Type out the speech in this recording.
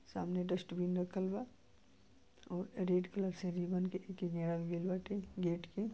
सामने डस्टबिन रखल बा और रेड कलर के रिबन के के गेड़ल गइल बाटे गेट के।